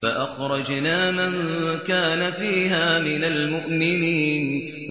فَأَخْرَجْنَا مَن كَانَ فِيهَا مِنَ الْمُؤْمِنِينَ